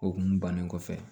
O kun bannen kɔfɛ